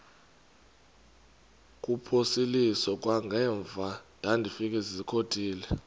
kuphosiliso kwangaemva ndafikezizikotile